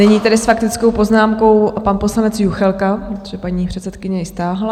Nyní tedy s faktickou poznámkou pan poslanec Juchelka, protože paní předsedkyně ji stáhla.